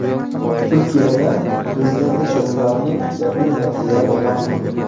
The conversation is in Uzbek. Turkiyada prezidentlik saylovlarining yakuniy natijalari e’lon qilindi.